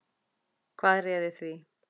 Hvað réði því?